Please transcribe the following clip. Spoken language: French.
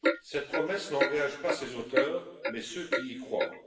Cette promesse n'engage pas ses auteurs, mais ceux qui y croient.